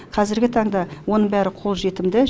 қазргі таңда оның барлығы қолжетімді